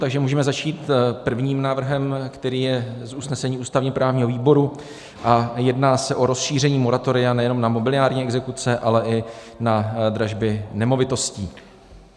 Takže můžeme začít prvním návrhem, který je z usnesení ústavně-právního výboru, a jedná se o rozšíření moratoria nejen na mobiliární exekuce, ale i na dražby nemovitostí.